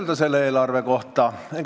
Mida selle eelarve kohta ütelda?